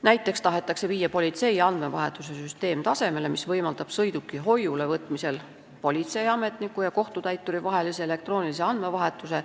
Näiteks tahetakse viia politsei andmevahetuse süsteem tasemele, mis võimaldab sõiduki hoiule võtmisel politseiametniku ja kohtutäituri vahelise elektroonilise andmevahetuse.